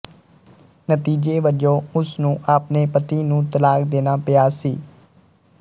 ਨਤੀਜੇ ਵਜੋਂ ਉਸ ਨੂੰ ਆਪਣੇ ਪਤੀ ਨੂੰ ਤਲਾਕ ਦੇਣਾ ਪਿਆ ਸੀ